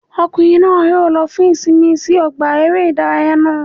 Ọkùnrin náà yóò lo fún ìsinmi sí ọgbà eré ìdárayá náà